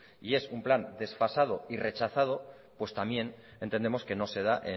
y es un plan desfasado y rechazado pues también entendemos que no se da